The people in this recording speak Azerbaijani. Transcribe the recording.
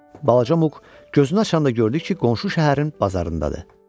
Balaca Muq gözünü açanda gördü ki, qonşu şəhərin bazarındadır.